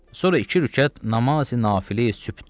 Sonra iki rükət namazi nafilə sübhdür.